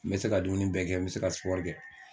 N bɛ se ka dumuni bɛ kɛ n bɛ se ka kɛ.